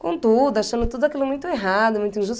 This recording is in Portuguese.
com tudo, achando tudo aquilo muito errado, muito injusto.